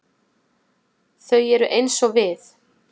Þau eru eins og við.